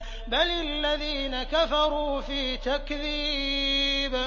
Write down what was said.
بَلِ الَّذِينَ كَفَرُوا فِي تَكْذِيبٍ